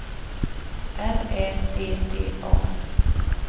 R Ä D D A